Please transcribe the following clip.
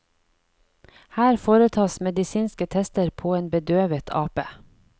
Her foretas medisinske tester på en bedøvet ape.